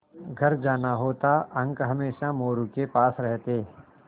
घर जाना होता अंक हमेशा मोरू के पास रहते